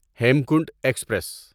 Hemkunt express